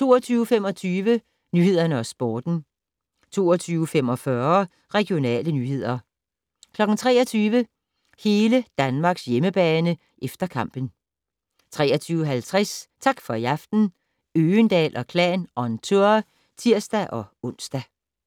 22:25: Nyhederne og Sporten 22:45: Regionale nyheder 23:00: Hele Danmarks hjemmebane - efter kampen 23:50: Tak for i aften - Øgendahl & Klan on tour (tir-ons)